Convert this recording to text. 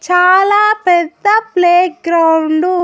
చాలా పెద్ద playground .